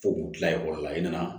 Fo k'u kila ekɔli la i nana